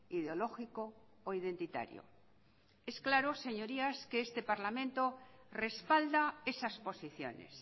ideológico o identitario es claro señorías que este parlamento respalda esas posiciones